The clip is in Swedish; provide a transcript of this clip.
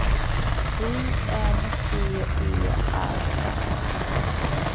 I N T E R N